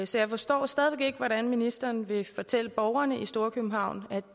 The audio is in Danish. så jeg forstår stadig væk ikke hvad ministeren vil fortælle borgerne i storkøbenhavn